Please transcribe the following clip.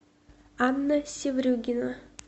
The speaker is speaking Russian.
анна севрюгина